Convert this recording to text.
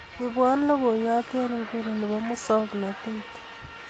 ibwon logoyot en nguni nebo musoknotet